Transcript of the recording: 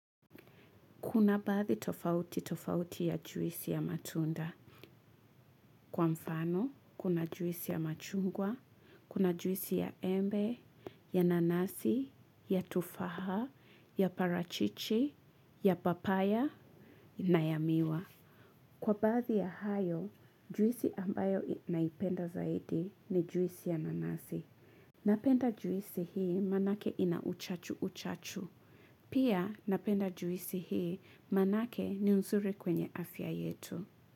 Kuna baadhi tofauti tofauti ya juisi ya matunda. Kwa mfano, kuna juisi ya machungwa, kuna juisi ya embe, ya nanasi, ya tufaha, ya parachichi, ya papaya, na ya miwa. Kwa bathi ya hayo, juisi ambayo naipenda zaidi ni juisi ya nanasi. Napenda juisi hii manake ina uchachu-uchachu. Pia napenda juisi hii manake ni nzuri kwenye afya yetu.